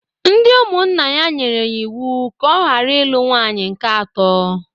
Ndị ụmụnna ya nyere ya iwu ka ọ gara ilu nwaanyị nke atọ!.